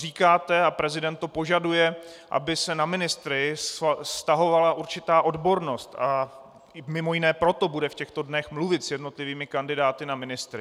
Říkáte a prezident to požaduje, aby se na ministry vztahovala určitá odbornost, a mimo jiné proto bude v těchto dnech mluvit s jednotlivými kandidáty na ministry.